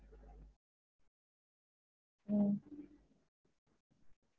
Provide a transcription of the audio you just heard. உம்